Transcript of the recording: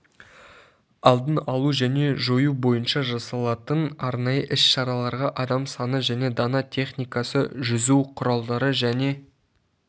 алдын алу және жою бойынша жасалатын арнайы іс-шараларға адам саны және дана техникасы жүзу құралдары және